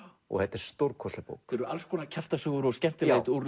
og þetta er stórkostleg bók þetta eru alls konar kjaftasögur og skemmtilegheit úr